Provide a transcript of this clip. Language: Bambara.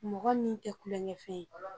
Mɔgɔni tɛ kulonkɛ fɛn ye.